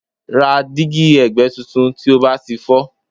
Ra dígí ẹ̀gbẹ́ tuntun tí ó bá ti fọ́